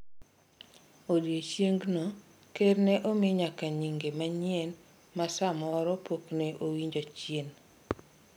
odiochiengno, ker ne omi nyaka nyinge manyien ma samoro pok ne owinjo chien,